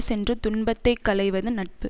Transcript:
சென்று துன்பத்தை களைவது நட்பு